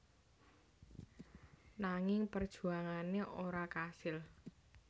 Nanging perjuangane ora kasil